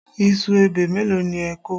Iṣu ebè mélòó ni ẹ kọ?